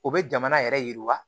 U bɛ jamana yɛrɛ yiriwa